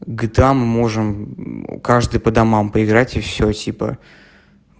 гта можем каждый по домам поиграть и все типа